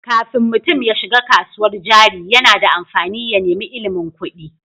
Kafin mutum ya shiga kasuwar jari, yana da amfani ya nemi ilimin kuɗi.